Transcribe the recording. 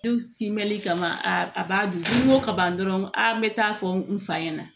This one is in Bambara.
timɛli kama a b'a dun n'i ko ka ban dɔrɔn a n bɛ taa fɔ n fa ɲɛna